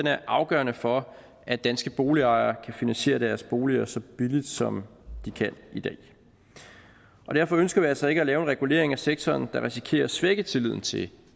er afgørende for at danske boligejere kan finansiere deres boliger så billigt som de kan i dag derfor ønsker vi altså ikke at lave en regulering af sektoren der risikerer at svække tilliden til